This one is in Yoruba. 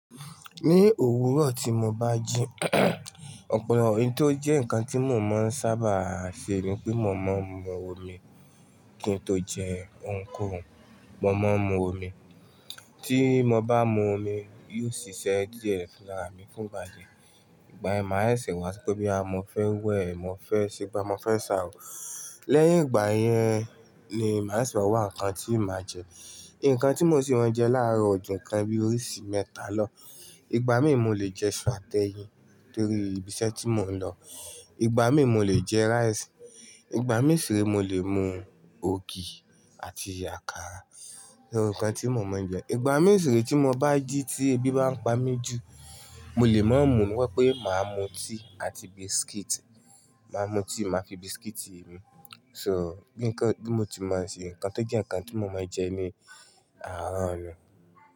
Ní òwúrọ̀ tí mo bá jí, ọ̀pọ̀ ohun tó jẹ́ ǹkan tí mo máa ń sábà ṣe ni pé mo máa ń mú omi kí n tó jẹ ǹkan. Mo máa ń mú omi, tí mo bá mú omi, yóò ṣiṣẹ́ díẹ̀ fún ara mi fún ìgbà díẹ̀. Ìgbà yen máa ṣẹ̀ wá sope boya mọ́ fẹ́ wẹ̀, mo fẹ́ ṣegba, mo fẹ́ ṣàáwò. Lẹ́yìn ìgbà yẹn ni màá ṣẹ̀ wá ǹkan tí màá jẹ. Ǹkan tí mo sì máa ń jẹ láàárọ̀ ọ̀ju kan bí oríṣi mẹ́ta lọ. Ìgbà míì mo lè jẹ iṣu àti ẹyin torí ibiṣẹ́ tí mò ń lọ. Ìgbà míì mo lè jẹ rice. Ìgbà mì si re mo lè mú ògì àti àkàrà ni ǹkan tí mo máa ń jẹ. Ìgbà mì si re tí mo bá jí tí ebi bá ń pa mi jù, mo lè má mú wípé màá mú tíì àti biscuit. Màá mú tíì, màá fi biscuit ṣi So bí mo ti máa ń ṣe, ǹkan tó jẹ́ ǹkan tí mo máa ń jẹ ni àárọ̀ ní.